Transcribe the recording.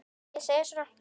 Ég segi svona.